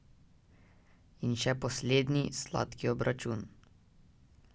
In še poslednji, sladki obračun.